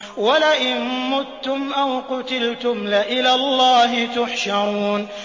وَلَئِن مُّتُّمْ أَوْ قُتِلْتُمْ لَإِلَى اللَّهِ تُحْشَرُونَ